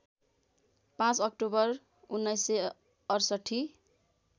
५ October १९६८